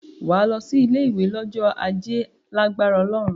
Wà á lọ sí ilé-ìwé lọ́jọ́ Ajé lágbára Ọlọ́run.